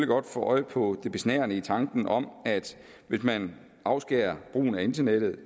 godt få øje på det besnærende i tanken om at hvis man afskærer brugen af internettet